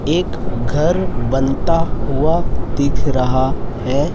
एक घर बनता हुआ दिख रहा है।